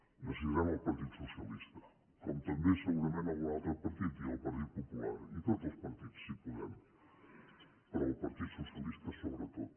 necessitarem el partit socialista com també segurament algun altre partit i el partit popular i tots els partits si podem però el partit socialista sobretot